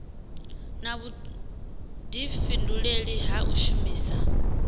na vhudifhinduleli ha u shumisa